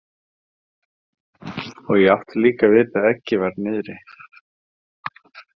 Og ég átti líka að vita að eggið var niðri.